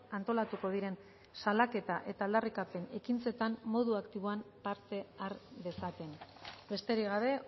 antolatuko diren salaketa eta aldarrikapen ekintzetan modu aktiboan parte har dezaten besterik gabe